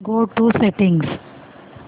go to settings